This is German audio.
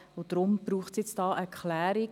Deshalb braucht es jetzt eine Klärung.